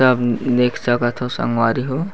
सब देख सकाथो संगवारी हो --